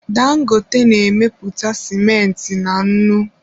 Dangote na-emepụta sịmentị na nnu.